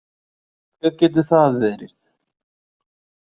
Hver getur það verið?